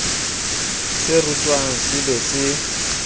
se rutwang se be se